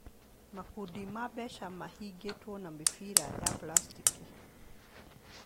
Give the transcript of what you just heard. Makundi ma mbeca mahingĩtwo na mĩbira ya puracitĩki.